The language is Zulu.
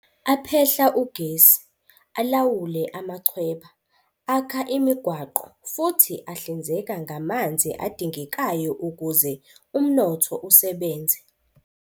Aphehla ugesi, alawule amachweba, akha imigwaqo futhi ahlinzeka ngamanzi adingekayo ukuze umnotho usebenze.